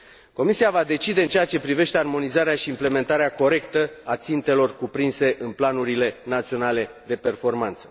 Comisia va decide în ceea ce privește armonizarea și implementarea corectă a țintelor cuprinse în planurile naționale de performanță.